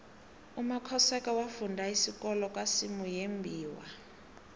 umakhosoke wafunda isikolo kwasimuyembiwa